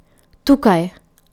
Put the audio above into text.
Tukaj!